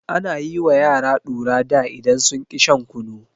Ana yi wa yara ɗura da idan sun ƙi shan kunu.